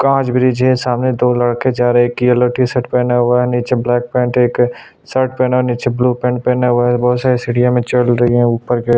काज bridge है सामने दो लड़के जा रहै है एक येलो टीशर्ट पेहने हुआ है नीचे ब्लैक पेंट एक शर्ट पेहना है नीचे ब्लू पेंट पहना हुआ है बहुत सारी सीढ़िया में चल रही है ऊपर की और--